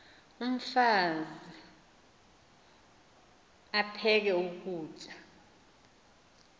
umfaz aphek ukutya